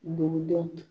Dugudenw